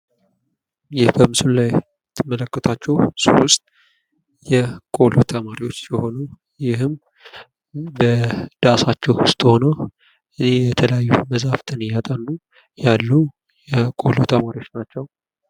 ይህ በምስሉ ላይ የምትመለከቱዋቸው ሶስት የቆሎ ተማሪዎች ሲሆኑ ፤ ይህም በዳሳቸው ዉስጥ ሁነው በዛፍ ስር እያጠኑ ያሉ የቆሎ ተማሪዎች ናቸው።